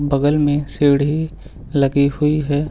बगल में सीढ़ी लगी हुई है।